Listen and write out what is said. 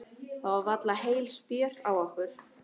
Það var varla heil spjör á okkur.